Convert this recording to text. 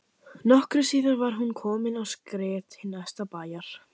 Nokkru síðar var hún komin á skrið til næsta bæjar.